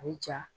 A bɛ ja